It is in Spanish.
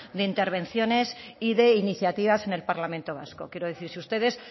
de intervenciones y de iniciativas en el parlamento vasco quiero decir si ustedes